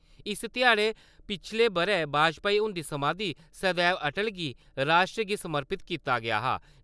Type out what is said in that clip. इस ध्याड़े पिछले ब‘रे बाजपाई हुन्दी समाधी सदैव अटल गी राश्ट्र समर्पत कीता गेआ हा।